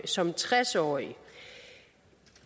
som tres årig